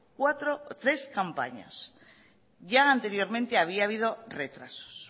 tres campañas ya anteriormente había habido retrasos